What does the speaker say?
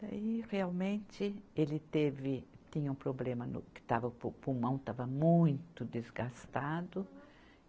Daí, realmente, ele teve, tinha um problema no, que estava o pulmão estava muito desgastado.